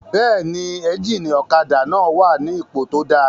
Bẹ́ẹ̀ni, éjìnì ọ̀kadà náà wà ní ipò tó dáa